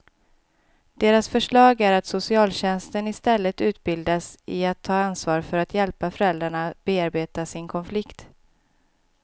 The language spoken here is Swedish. Deras förslag är att socialtjänsten istället utbildas i att ta ansvar för att hjälpa föräldrarna bearbeta sin konflikt.